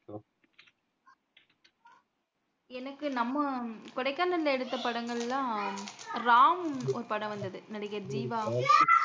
எனக்கு நம்ம கொடைக்கானல்ல எடுத்த படங்கள்ளா எல்லாம் ஒரு படம் வந்தது நடிகர் ஜீவா